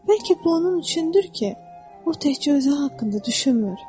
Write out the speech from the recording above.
Bəlkə bu onun üçündür ki, o təkcə özü haqqında düşünmür.